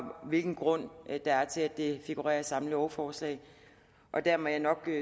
hvilken grund der er til at det figurerer i samme lovforslag der må jeg nok